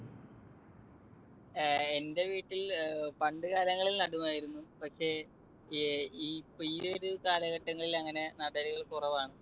ഏർ എന്റെ വീട്ടിൽ പണ്ടുകാലങ്ങളിൽ നടുമായിരുന്നു. പക്ഷെ ഇപ്പൊ ഈ ഒരു കാലഘട്ടങ്ങളിൽ അങ്ങനെ നടലുകൾ കുറവാണ്.